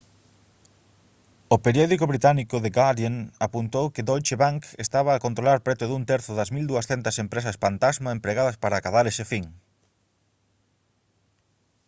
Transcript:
o periódico británico the guardian apuntou que deutsche bank estaba a controlar preto dun terzo das 1200 empresas pantasma empregadas para acadar ese fin